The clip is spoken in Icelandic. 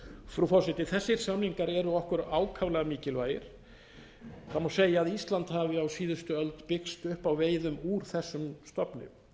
frú forseti þessir samningar eru okkur ákaflega mikilvægir það má segja að ísland hafi á síðustu öld byggst upp á veiðum úr þessum stofni